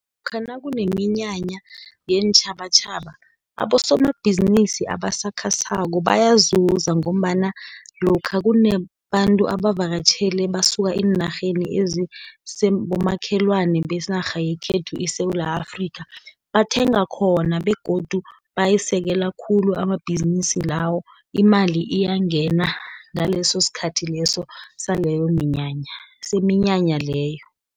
Lokha nakuneminyanya yeentjhabatjhaba abosomabhizinisi abasakhasako, bayazuza, ngombana lokha kunabantu abavakatjhele basuka eenarheni ezibomakhelwana benarha yekhethu iSewula Afrika, bathenga khona, begodu bayisekela khulu, amabhizinisi lawo, imali iyangena ngaleso sikhathi saleyo minyanya, seminyanya leyo.